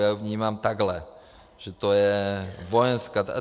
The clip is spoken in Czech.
Já ji vnímám takhle, že to je vojenská.